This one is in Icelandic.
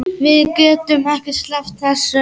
Við getum ekki sleppt þessu.